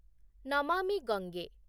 Namami Gange